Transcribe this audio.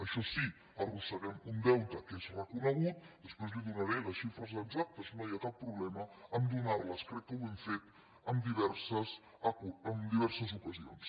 això sí arrosseguem un deute que és reconegut després li’n donaré les xifres exactes no hi ha cap problema a donar·les crec que ho hem fet en diverses ocasions